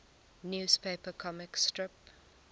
newspaper comic strip